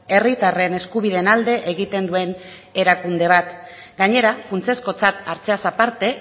herritarren eskubideen alde egiten duen erakunde bat gainera funtsezkotzat hartzeaz aparte